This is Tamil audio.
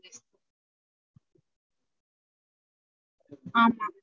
ஆமா